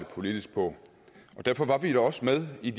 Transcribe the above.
politisk på derfor var vi da også med i